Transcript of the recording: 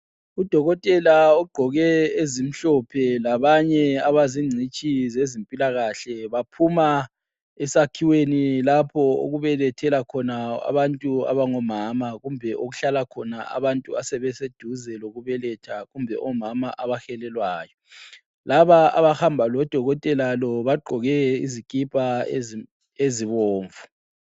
Udokotela ogqoke ezimhlophe labanye abazingcitshi zezimpilakahle baphuma esakhiweni lapho okubelethela khona abantu abangomama kumbe okuhlala khona abantu asebeseduze lokubeletha kumbe omama abahelelwayo. Laba abahamba lodokotela lo bagqoke izikipa ezibomvu.